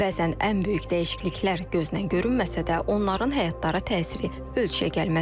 Bəzən ən böyük dəyişikliklər gözdən görünməsə də, onların həyatlara təsiri ölçüyəgəlməz olur.